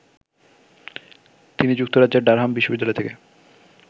তিনি যুক্তরাজ্যের ডারহাম বিশ্ববিদ্যালয় থেকে